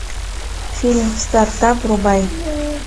фильм стартап врубай